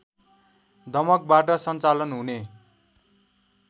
दमकबाट सञ्चालन हुने